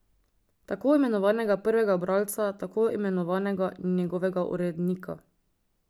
Tako imenovanega prvega bralca, tako imenovanega njegovega urednika.